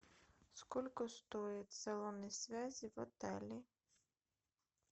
сколько стоит салоны связи в отеле